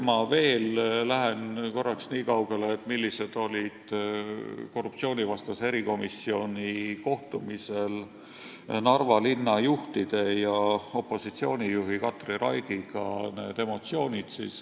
Ma veel korraks räägin sellest, millised olid emotsioonid korruptsioonivastase erikomisjoni kohtumisel Narva linna juhtide ja opositsioonijuhi Katri Raigiga.